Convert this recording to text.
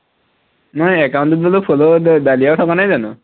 নহয় account টোত follower ত ডালিয়াও থকা নাই জানো